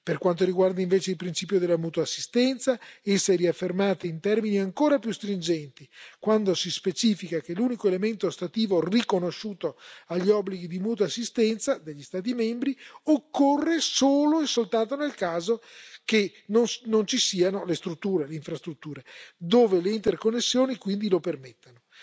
Per quanto riguarda invece il principio della mutua assistenza, essa è riaffermata in termini ancora più stringenti, quando si specifica che l'unico elemento ostativo riconosciuto agli obblighi di mutua assistenza degli Stati membri occorre solo e soltanto nel caso in cui non ci siano le infrastrutture, dove le interconnessioni quindi lo permettano.